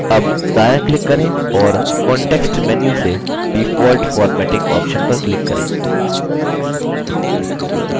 अब दायाँ click करें और context menu से default formatting option पर click करें